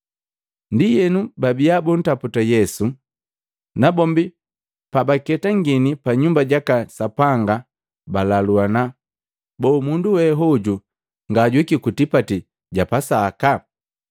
Ndienu, babiya buntaputa Yesu, nabombi pabaketangini pa Nyumba jaka Sapanga balaluana, “Boo mundu we hoju ngajuhiki ku tipati ja Pasaka?”